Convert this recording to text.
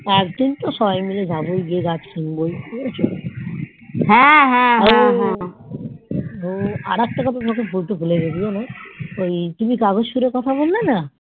একদিন তো সবাই মাইল যাবোই গাছ কিনবোই আর একটা কথা তোমাকে বলতে ভুলে গেছি জানতো ওই তুমি কাগজ ফুলের কথা বললেন